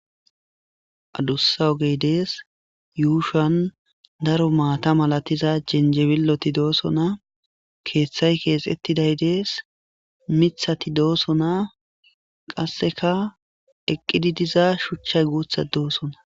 Adussa ogey dees yuushan daro maata malatiza jenjebiloti doosona keeththay keexettiday dees mithati doosona qasseka eqqidi diza shuchchay guutha doosona.